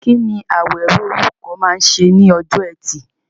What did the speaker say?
Kí ni Awero, olùkọ́, máa ń ṣe ní ọjọ́ Ẹtì?